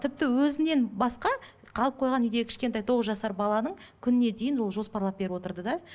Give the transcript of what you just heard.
тіпті өзінен басқа қалып қойған үйдегі кішкентай тоғыз жасар баланың күніне дейін ол жоспарлап беріп отырды да